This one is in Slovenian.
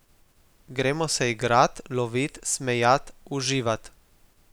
Gremo se igrat, lovit, smejat, uživat.